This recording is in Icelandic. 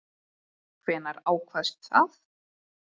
Hvenær ákvaðstu það?